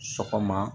Sɔgɔma